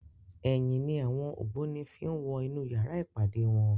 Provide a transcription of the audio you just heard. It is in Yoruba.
Èyin ni áwòn ógbóni fi n wò inú yàrá ipádé wòn